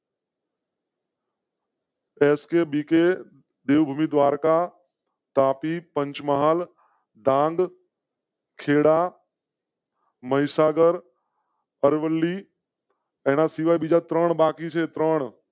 HK બીકે. દેવ ભૂમિ દ્વારકા, તાપી, પંચમહાલ ડાંગ. ખેડા મહીસાગર અરવલ્લી એના સિવાય બીજા ત્રણ બાકી સે ત્રણ.